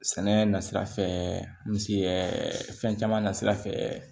Sɛnɛ na sira fɛ misi caman na sira fɛ